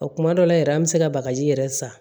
O kuma dɔ la yɛrɛ an bɛ se ka bagaji yɛrɛ san